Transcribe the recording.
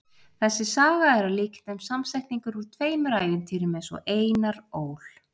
þessi saga er að líkindum samsetningur úr tveimur ævintýrum eins og einar ól